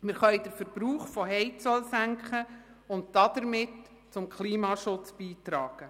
Wir können den Verbrauch von Heizöl senken und damit zum Klimaschutz beitragen.